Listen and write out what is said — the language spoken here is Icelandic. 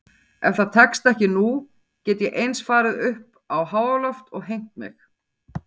Ef það tekst ekki nú get ég eins farið uppá háaloft og hengt mig.